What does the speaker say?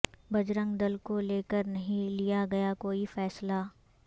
بجرنگ دل کو لےکر نہیں لیا گیا کوئی فیصلہ